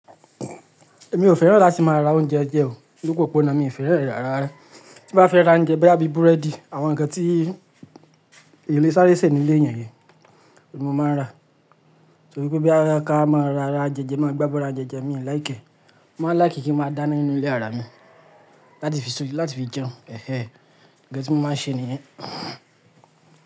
Èmi ò fẹ́ràn láti máa ra oúnjẹ jẹ o. Gbogbo ipọ̀náà mi fẹ́ràn e rara. Bí mo bá fẹ́ ra oúnjẹ bí i búrẹ́dì, àwọn ǹkan tí ilé sáré ṣe ní ilé èèyàn ni mo máa ra. Torí pé boyà ká máa ra ara jẹjẹ máa gbábo ra ounjẹ je mi like ẹ́. Mo maa ń like kí máa dáná nínú ilé ara mi láti fi sórí, láti fi jẹun. Ẹ̀hẹ̀ẹ̀. Ǹkan tí mo máa n ṣe nìyẹn.